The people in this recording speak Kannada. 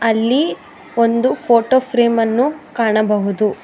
ಅಲ್ಲಿ ಒಂದು ಫೋಟೋ ಫ್ರೇಮ್ ಅನ್ನು ಕಾಣಬಹುದು.